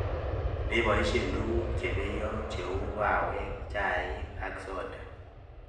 Mepoishe tuguk che peiyo cheu kawek, chaik ak soda